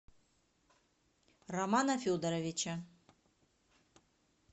романа федоровича